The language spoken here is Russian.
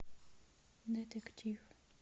детектив